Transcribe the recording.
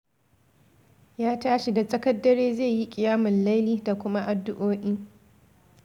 Ya tashi da tsakar dare zai yi ƙiyamul laili da kuma addu'o'i.